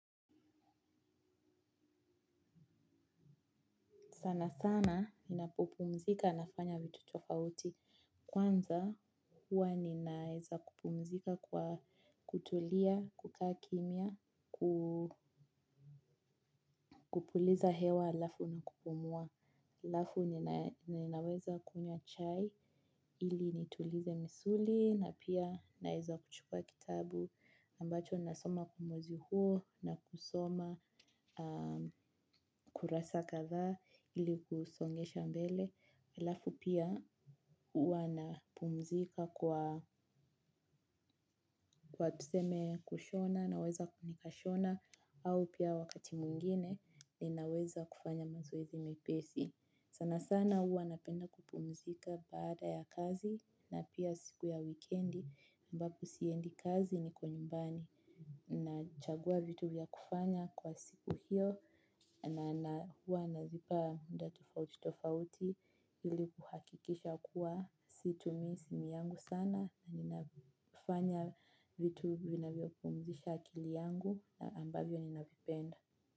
Sana sana ninapopumzika nafanya vitu tofauti. Kwanza huwa ninaeza kupumzika kwa kutulia, kukaa kimya, kupuliza hewa halafu na kupumua. Halafu ninaweza kunywa chai ili nitulize misuli, na pia naeza kuchukua kitabu ambacho nasoma kwa mwezi huo na kusoma kurasa kadhaa ili kusongesha mbele. Halafu pia huwa na pumzika kwa kwa tuseme kushona. Naweza kushona au pia wakati mwingine ninaweza kufanya mazoezi mepesi. Sana sana huwa napenda kupumzika baada ya kazi, na pia siku ya wikendi. Ambapo siendi kazi niko nyumbani. Nachagua vitu ya kufanya kwa siku hiyo na hua nazipa muda tofauti tofauti ili kuhakikisha kuwa situmii simu yangu sana na ninafanya vitu vinavyo pumzisha akili yangu, ambavyo ninavipenda.